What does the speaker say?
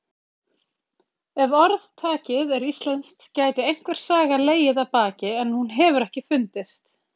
Ef orðtakið er íslenskt gæti einhver saga legið að baki en hún hefur ekki fundist.